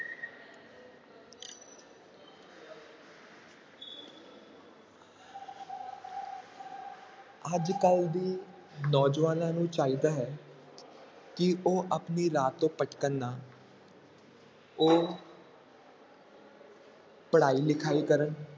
ਅੱਜ ਕੱਲ੍ਹ ਦੀ ਨੌਜਵਾਨਾਂ ਨੂੰ ਚਾਹੀਦਾ ਹੈ ਕਿ ਉਹ ਆਪਣੇ ਰਾਹ ਤੋਂ ਭਟਕਣ ਨਾ ਉਹ ਪੜ੍ਹਾਈ ਲਿਖਾਈ ਕਰਨ